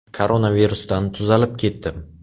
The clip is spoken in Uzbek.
Koronavirusdan tuzalib ketdim.